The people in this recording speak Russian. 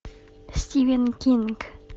стивен кинг